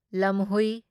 ꯂꯝꯍꯨꯢ